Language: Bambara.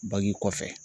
Bagji kɔfɛ